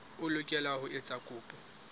o lokela ho etsa kopo